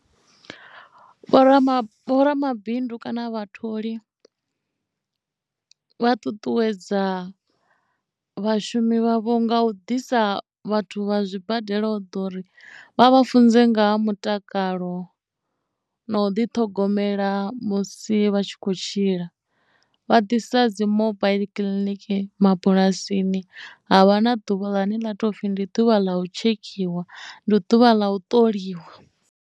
Vho rama ramabindu kana vhatholi vha ṱuṱuwedza vhashumi vhavho nga u ḓisa vhathu vha zwibadela u ḓa uri vha vha funze nga ha mutakalo na u ḓi ṱhogomela musi vha tshi kho tshila vha ḓisa dzimobaiḽi kiḽiniki mabulasini havha na ḓuvhani ḽa topfhi ndi ḓuvha ḽa u tshekhiwa ndi ḓuvha ḽa u ṱoliwa.